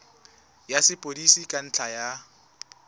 ya sepodisi ka ntlha ya